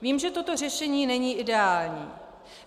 Vím, že toto řešení není ideální.